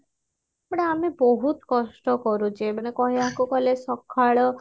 but ଆମେ ବହୁତ କଷ୍ଟ କରୁଛେ ମାନେ କହିବାକୁ ଗଲେ ସକାଳ